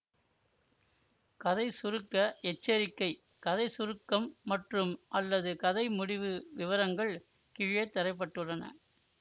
கதை சுருக்க எச்சரிக்கை கதை சுருக்கம் மற்றும்அல்லது கதை முடிவு விவரங்கள் கீழே தர பட்டுள்ளன